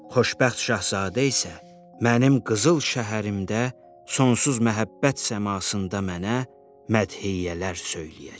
Xoşbəxt Şahzadə isə mənim qızıl şəhərimdə sonsuz məhəbbət səmasında mənə mədhiyələr söyləyəcək.